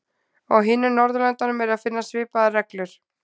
Á hinum Norðurlöndunum er að finna svipaðar reglur.